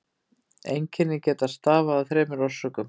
Einkennin geta stafað af þremur orsökum.